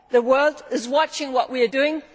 a test. The world is watching what we are